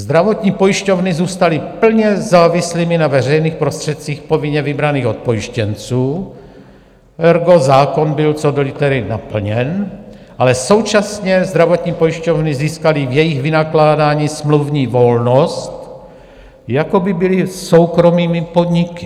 Zdravotní pojišťovny zůstaly plně závislými na veřejných prostředcích povinně vybraných od pojištěnců, ergo zákon byl co do litery naplněn, ale současně zdravotní pojišťovny získaly v jejich vynakládání smluvní volnost, jako by byly soukromými podniky.